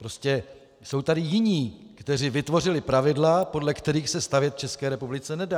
Prostě jsou tady jiní, kteří vytvořili pravidla, podle kterých se stavět v České republice nedá.